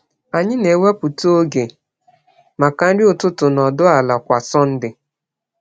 Anyị na-ewepụta oge maka nri ụtụtụ nọdụ ala kwa Sọnde.